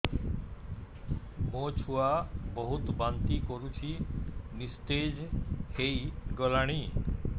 ମୋ ଛୁଆ ବହୁତ୍ ବାନ୍ତି କରୁଛି ନିସ୍ତେଜ ହେଇ ଗଲାନି